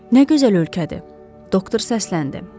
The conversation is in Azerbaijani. Nə gözəl ölkədir, doktor səsləndi.